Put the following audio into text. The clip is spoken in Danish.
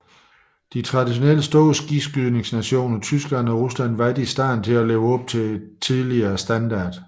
De traditionelt store skikydningsnationer Tyskland og Rusland var ikke i stand til at leve op til tidligere standarder